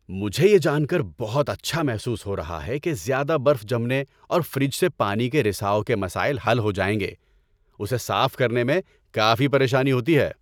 مجھے یہ جان کر بہت اچھا محسوس ہو رہا ہے کہ زیادہ برف جمنے اور فریج سے پانی کے رساؤ کے مسائل حل ہو جائیں گے – اسے صاف کرنے میں کافی پریشانی ہوتی ہے